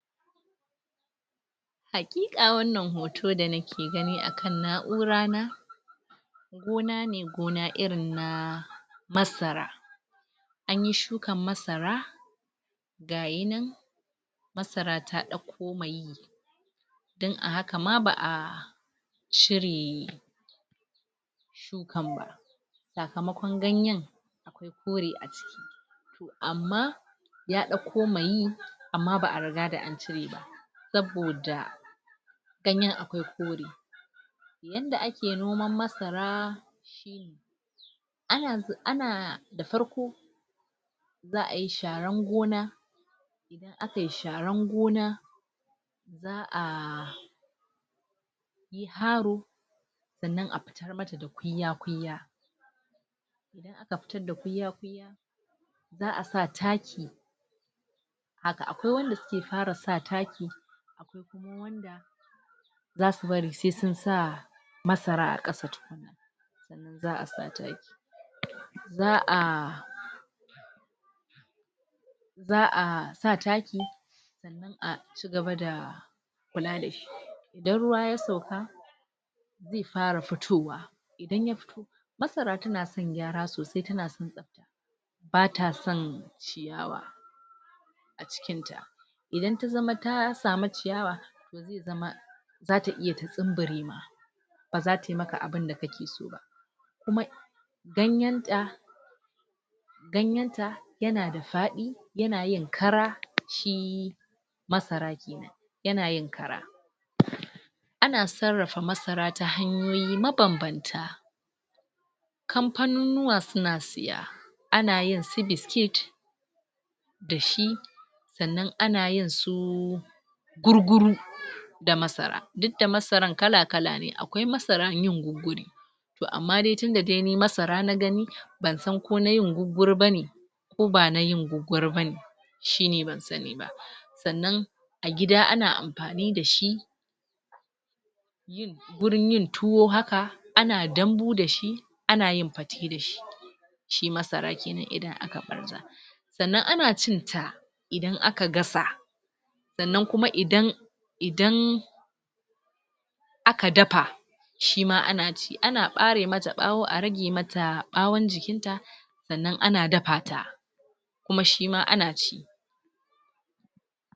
Haƙiƙa wannan hoton da nake gani a kan na'ura na gona ne gona irin na masara an yi shukan masara ga yi nan masara ta ɗauko mai don a haka ma ba a shiri ne? kan ba sakamakon ganyen koriya amma ya ɗauko ma yi amma ba a riga da an cire ba saboda ganyen akwai kore yadda a ke noman masara a na? da farko za a yi sharan gona a kai sharan gona za a faro sannan a fitar mata da kunya kunya a ka fitar da kunya za a sa taki haka akwai wanda suke fara sa taki za su bari sai sun sa masara a ƙasa za a sa taki za a za a sa taki a cigaba da kula dashi idan ruwa ya sauka zai fara fitowa idan ya masara tana son gyara sosai ta na ba ta son ciyawa a cikinta idan ta zama ta samu ciyawa zama za ta iya ta tsumbure ba za tai maka abinda kake so kuma ganyen ta ganyen ta yana da faɗi yana yin kara shi masarar yana yin kara? ana sarrafa masara ta hanyoyi mabanbanta kamfanunuwa suna siya ana yin su biskit da shi sannan ana yin su gurguru da masara duk da masaran kala kala ne akwai masaran yin gurguru to amma dai tunda dai ni masara na gani ban san ko na yin gurguru bane ko ba na yin gurguru ba ne shine ban sani ba sannan a gida ana amfani da shi gurin yin tuwo haka ana dambu da shi a na yin fate da shi shi masara kenan idan aka ɓarza sannan ana cin ta idan a ka gasa sannan kuma idan idan aka dafa shima ana ci ana ɓare mata ɓawo a rage mata ɓawon jikin ta sannan ana dafa ta kuma shima a na ci